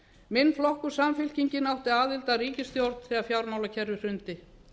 minn flokkur samfylkingin átti aðild að ríkisstjórn þegar fjármálakerfið hrundi